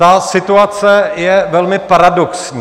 Ta situace je velmi paradoxní.